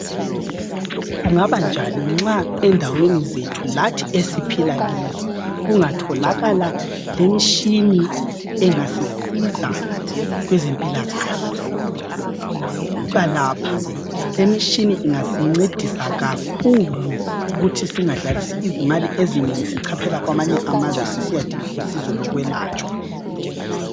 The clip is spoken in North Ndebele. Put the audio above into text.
Kubanjani nxa endaweni zethu lathi esiphila kizo, kungatholakala lemitshini engasisiza kwezempilakahle. Buka lapha, lemitshini ingasincedisa kakhulu ukuthi singadlalisi izimali ezinengi sichaphela kwamanye amazwe sisiyadinga usizo lokwelatshwa.